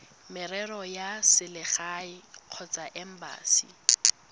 merero ya selegae kgotsa embasi